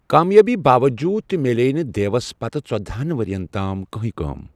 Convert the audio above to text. کامیٲبی باوجوٗد تہِ میلیٛیہ نہٕ دیوَس پتہٕ ژۄدہَن ؤرۍیَن تام کہٕنۍ کٲم۔